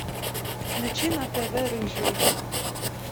включи на тв рыжий